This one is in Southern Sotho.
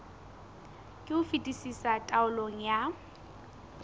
ka ho fetisisa taolong ya